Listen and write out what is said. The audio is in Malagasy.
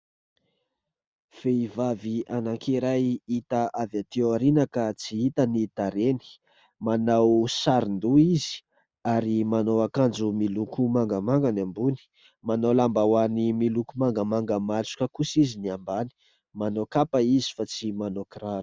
Vehivavy anankiray hita avy aty aoriana ka tsy hita ny tarehiny ; manao sarondoha izy ary manao akanjo miloko mangamanga ny ambony, manao lambahoany miloko mangamanga matroka kosa izy ny ambany, manao kapa izy fa tsy manao kiraro.